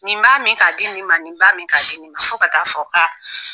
Nin b'a min k'a di nin ma nin b'a min k'a di nin ma fo ka taa fɔ ka